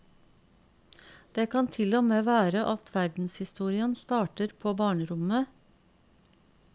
Det kan til og med være at verdenshistorien starter på barnerommet.